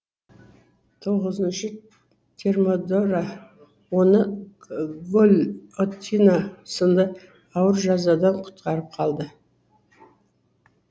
тоғызыншы термидора оны гильотина сынды ауыр жазадан құтқарып қалды